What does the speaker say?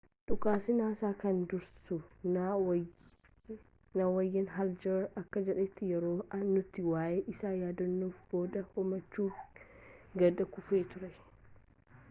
dhukaasa nasa kan dursu n wayne hale jr akka jedhetti yeroo nuti waa'ee isaa yaaddofne booda hoomachi gad kufee ture